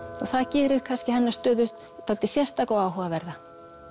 það gerir kannski hennar stöðu dálítið sérstaka og áhugaverða